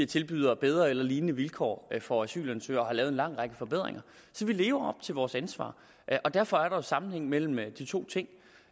tilbyder bedre eller lignende vilkår for asylansøgere og har lavet en lang række forbedringer så vi lever til vores ansvar derfor er der sammenhæng mellem de to ting